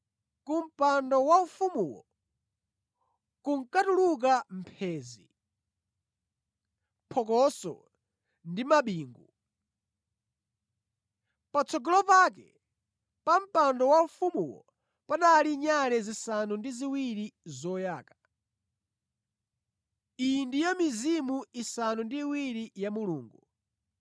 Kumpando waufumuwo kunkatuluka mphenzi, phokoso ndi mabingu. Patsogolo pake pa mpando waufumuwo panali nyale zisanu ndi ziwiri zoyaka. Iyi ndiyo mizimu isanu ndi iwiri ya Mulungu.